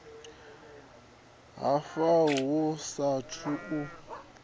ha fa hu saathu u